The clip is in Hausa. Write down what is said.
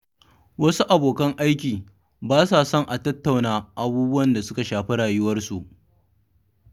Wasu abokan aiki ba sa son a tattauna abubuwan da suka shafi rayuwarsu.